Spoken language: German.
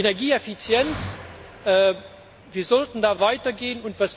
Energieeffizienz Wir sollten da weitergehen.